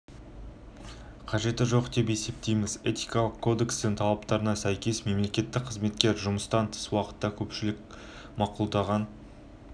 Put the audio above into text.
біз мемлекеттік қызметкерді демалыс күндері жұмысқа джинсы немесе спорттық аяқ киіммен келгені үшін тәртіптік жауапкершілікке тартудың